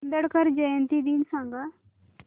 आंबेडकर जयंती दिन सांग